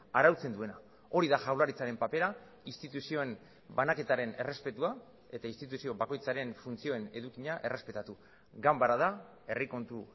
arautzen duena hori da jaurlaritzaren papera instituzioen banaketaren errespetua eta instituzio bakoitzaren funtzioen edukia errespetatu ganbara da herri kontu